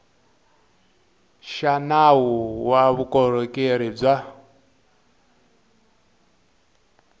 xa nawu wa vukorhokeri bya